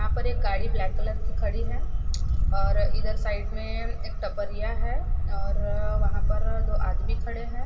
यहां पर एक गाड़ी ब्लैक कलर की खड़ी है और इधर साइड में एक टपरिया है और वहां पर दो आदमी खड़े हैं।